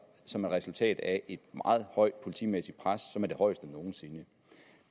som et resultat af et meget højt politimæssigt pres det højeste nogen sinde